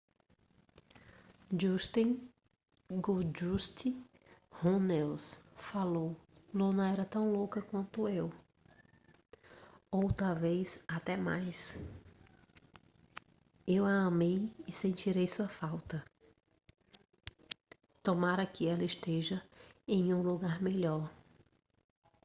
dustin goldust runnels falou: luna era tão louca quanto eu ... ou talvez até mais ... eu a amei e sentirei sua falta ... tomara que ela esteja em um lugar melhor.